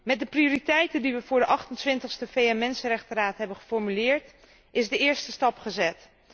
Met de prioriteiten die we voor de 28ste VN mensenrechtenraad hebben geformuleerd is de eerste stap gezet.